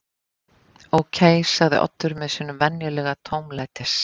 Ókei sagði Oddur með sínum venjulega tómlætis